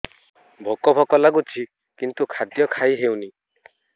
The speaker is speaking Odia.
ଭୋକ ଭୋକ ଲାଗୁଛି କିନ୍ତୁ ଖାଦ୍ୟ ଖାଇ ହେଉନି